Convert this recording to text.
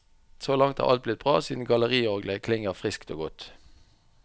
Så langt er alt blitt bra siden galleriorglet klinger friskt og godt.